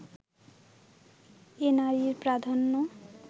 এ নারী-প্রাধান্য